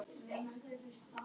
Já, að opna, víkka, reyna.